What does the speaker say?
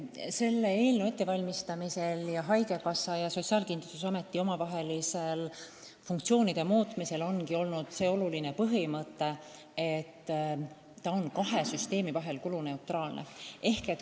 Selle eelnõu koostamisel ja haigekassa ja Sotsiaalkindlustusameti funktsioonide muutmisel ongi lähtutud olulisest põhimõttest, et muudatus on kuluneutraalne.